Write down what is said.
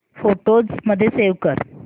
photos मध्ये save कर